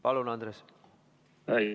Palun, Andres!